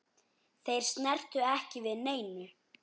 Þeir snertu ekki við neinu.